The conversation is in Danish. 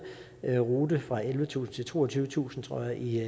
rute fra ellevetusind til toogtyvetusind tror jeg i